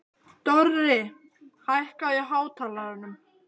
Dorri, hækkaðu í hátalaranum.